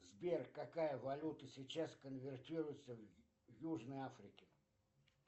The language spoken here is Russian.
сбер какая валюта сейчас конвертируется в южной африке